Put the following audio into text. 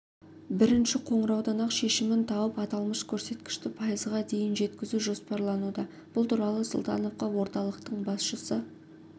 бірінші қоңыраудан-ақ шешімін тауып аталмыш көрсеткішті пайызға дейін жеткізу жоспарлануда бұл туралы сұлтановқа орталықтың басшысы